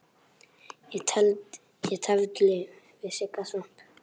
Ég tefldi við Sigga Svamp.